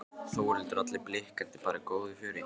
Þórhildur: Og allir blikkandi og bara í góðu fjöri?